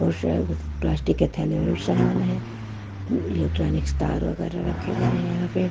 और शायद प्लास्टिक के थैले में भी समान है इलेक्ट्रॉनिक्स तार रखे गए हैं यहाँ पे--